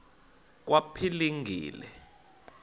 kwaphilingile